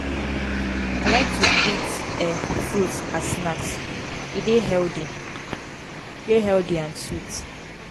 i like to eat um fruits as snacks; e dey healthy dey healthy and sweet.